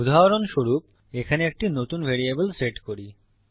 উদাহরণস্বরূপ এখানে একটি নতুন ভ্যারিয়েবল সেট করি